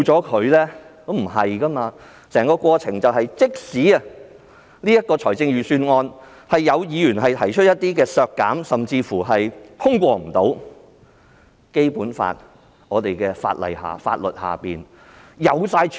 其實也不是的，即使有議員就財政預算案提出削減修訂，甚至預算案最終無法通過，在《基本法》及我們的法律下也有方法處理。